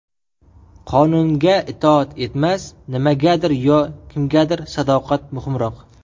Qonunga itoat emas, nimagadir yo kimgadir sadoqat muhimroq.